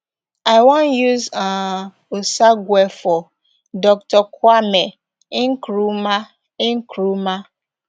i wan use um osagyefo dr kwame nkrumah nkrumah